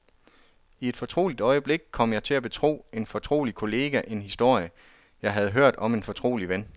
I et fortroligt øjeblik kom jeg til at betro en fortrolig kollega en historie, jeg havde hørt om en fortrolig ven.